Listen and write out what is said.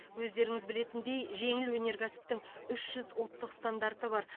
өздеріңіз білетіндей жеңіл өнеркәсіптің үш жүз ұлттық стандарты бар